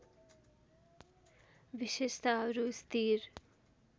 विशेषताहरू स्थिर